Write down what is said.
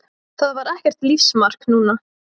Það var ekkert lífsmark núna.